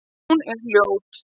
Hún er ljót.